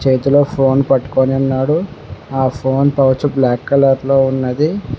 చేతిలో ఫోన్ పట్టుకొని ఉన్నాడు ఆ ఫోన్ పౌచ్ బ్లాక్ కలర్ లో ఉన్నది.